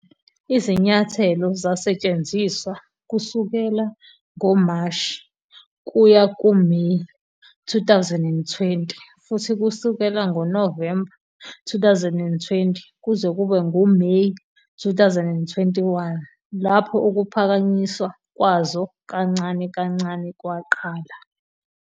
Izinyathelo zasetshenziswa kusukela ngoMashi kuya kuMeyi 2020 futhi kusukela ngoNovemba 2020 kuze kube nguMeyi 2021, lapho ukuphakanyiswa kwazo kancane kancane kwaqala.